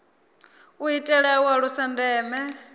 u itela u alusa ndeme